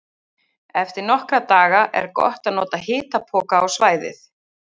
Eftir nokkra daga er gott að nota hitapoka á svæðið.